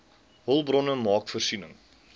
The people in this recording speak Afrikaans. hulpbronne maak voorsiening